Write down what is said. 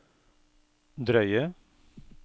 drøye